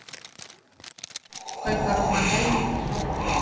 Kaupa rúman helming í Sjóvá